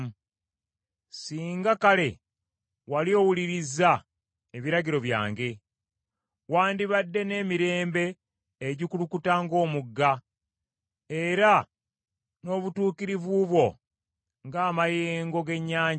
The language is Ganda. Singa kale wali owulirizza ebiragiro byange! Wandibadde n’emirembe egikulukuta ng’omugga! Era n’obutuukirivu bwo ng’amayengo g’ennyanja,